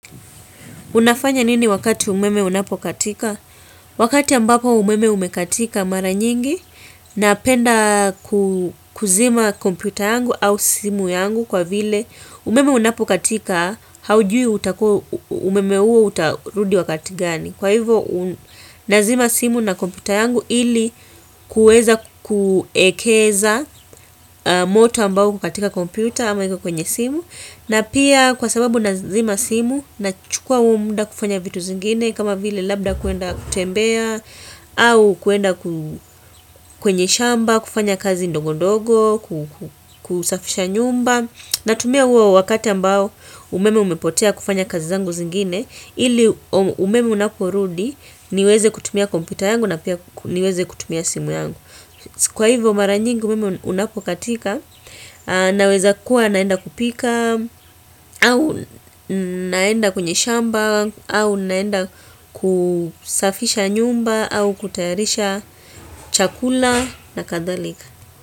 Unafanya nini wakati umeme unapokatika? Wakati ambapo umeme umekatika mara nyingi napenda kuzima kompyuta yangu au simu yangu kwa vile umeme unapokatika haujui umeme huo utarudi wakati gani. Kwa hivo nazima simu na kompyuta yangu ili kuweza kuekeza moto ambao uko katika kompyuta ama iko kwenye simu. Na pia kwa sababu nazima simu nachukua huo muda kufanya vitu zingine kama vile labda kuenda kutembea au kuenda kwenye shamba, kufanya kazi ndogo ndogo, kusafisha nyumba. Na tumia huo wakati ambao umeme umepotea kufanya kazi zangu zingine ili umeme unaporudi niweze kutumia kompyuta yangu na pia niweze kutumia simu yangu. Kwa hivyo mara nyingi umeme unapokatika Naweza kuwa naenda kupika au naenda kwenye shamba au naenda kusafisha nyumba au kutayarisha chakula na kadhalika.